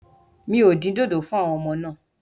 Mi ò dín dòdò fún àwọn ọmọ náà.